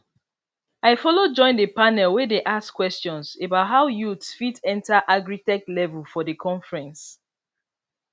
i follow join the panel wey dey ask questions about how youth fit enter agritech level for the conference